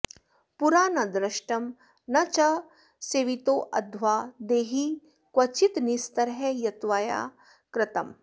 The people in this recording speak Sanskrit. पुरा नदृष्टं न च सेवितोऽध्वा देहिन्क्वचिन्निस्तर यत्त्वया कृतम्